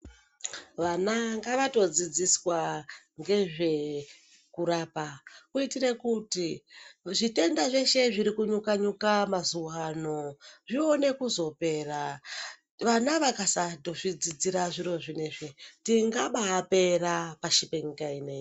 Vana ngavatodzidziswa ngezve kurapa kuitire kuti zvitenda zveshe zviri kujyka-nyuka mazuwaano zviwone kuzopera. Vana vakasatozvi dzidzira zviro zvinezvi tingabaapera pashi penyika ineyi.